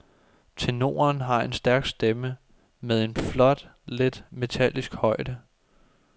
Tenoren har en stærk stemme, med en flot lidt metallisk højde.